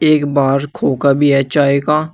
एक बाहर खोका भी है चाय का--